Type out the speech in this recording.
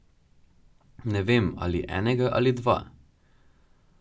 Ne vem, ali enega ali dva.